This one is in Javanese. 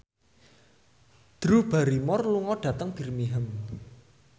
Drew Barrymore lunga dhateng Birmingham